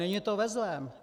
Není to ve zlém.